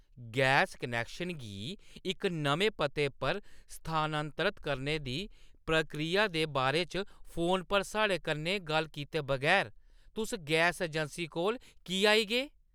Gas connection गी इक नमें पते पर स्थानांतरत करने दी प्रक्रिया दे बारे च फोन पर साढ़े कन्नै गल्ल कीते बगैर तुस गैस अजैंसी कोल की आई गे?